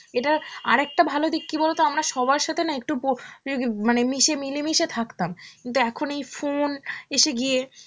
এটার আর একটা ভালো দিক কি বলতো, আমরা সবার সাথে না একটু প~ আগে~ মানে মিশে~ মিলেমিশে থাকতাম, কিন্তু এখন এই phone এসে গিয়ে